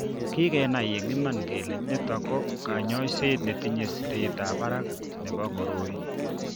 Kikenai eng' iman kole nito ko kanyoiset netinye siretab barak nebo koroi.